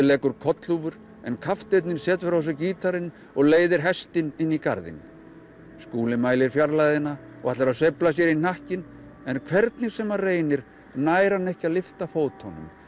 leggur kollhúfur en kapteinninn setur á sig gítarinn og leiðir hestinn inn í garðinn Skúli mælir fjarlægðina og ætlar að sveifla sér í hnakkinn en hvernig sem hann reynir nær hann ekki að lyfta fótunum